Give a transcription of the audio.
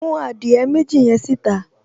Mú adìẹ méjì yẹn síta